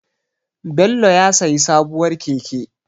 Bello ya sayi sabuwar keke.